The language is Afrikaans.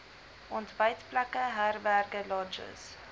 ontbytplekke herberge lodges